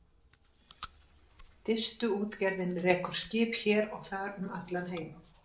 Distuútgerðin rekur skip hér og þar um allan heim.